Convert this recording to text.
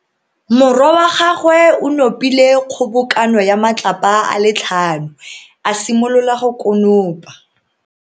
Morwa wa gagwe o nopile kgobokano ya matlapa a le tlhano, a simolola go konopa.